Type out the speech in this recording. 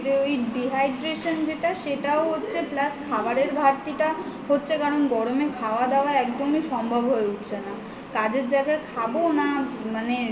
ওই dehydration যেটা সেটাও হচ্ছে plus খাবারের ঘাটতি টা হচ্ছে কারণ গরমে খাওয়া দাওয়া একদমই সম্ভব হয়ে উঠছে না কাজের জায়গায় খাব না মানে